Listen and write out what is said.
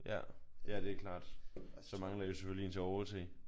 Ja. Ja det er klart. Så mangler I selvfølgelig en til at overse